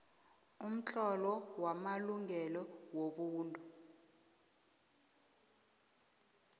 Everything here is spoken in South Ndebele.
umtlolo wamalungelo wobuntu